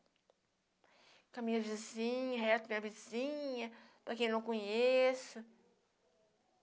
Com a minha vizinha, com o resto da minha vizinha, com quem eu não conheço.